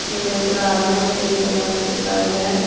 நா நெனைக்க ஒரு அலங்கார செடிகள்லா வச்சிருக்காங்க.